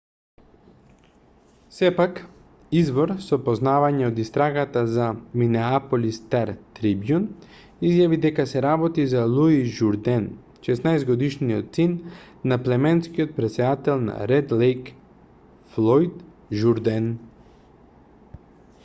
сепак извор со познавања од истрагата за минеаполис стар-трибјун изјави дека се работи за луис журден 16-годишниот син на племенскиот претседател на ред лејк флојд журден